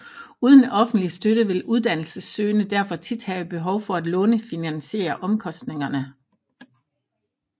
Uden offentlig støtte vil uddannelsessøgende derfor tit have behov for at lånefinansiere omkostningerne